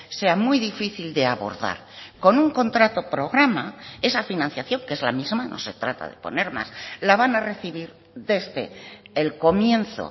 sea muy difícil de abordar con un contrato programa esa financiación que es la misma no se trata de poner más la van a recibir desde el comienzo